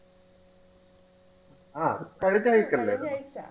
ആ കഴിഞ്ഞ ആഴ്ച അല്ലേ കഴിഞ്ഞ ആഴ്ച